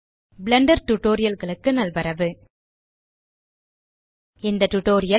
Blender Tutorialகளுக்கு நல்வரவு இந்த டியூட்டோரியல்